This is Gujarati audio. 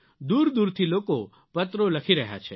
દૂરદૂરથી લોકો પત્રો લખી રહ્યા છે